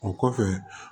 O kɔfɛ